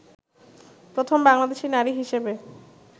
প্রথম বাংলাদেশী নারী হিসেবে